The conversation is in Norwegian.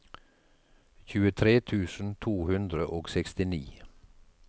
tjuetre tusen to hundre og sekstini